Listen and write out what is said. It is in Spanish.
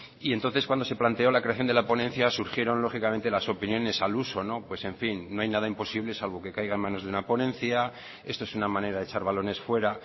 y entonces cuando se planteó la creación de la ponencia surgieron lógicamente las opiniones al uso pues en fin no hay nada imposible salgo que caiga en manos de una ponencia esto es una manera de echar balones fuera